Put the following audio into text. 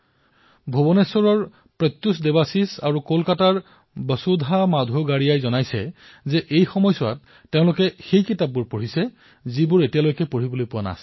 ভুৱনেশ্বৰৰ প্ৰত্যুষ আৰু কলকাতাৰ বসুধাই কৈছে যে আজিকালি তেওঁলোকে আগেয়ে পঢ়িবলৈ নোপোৱা কিতাপসমূহ পঢ়ি আছে